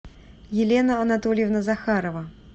елена анатольевна захарова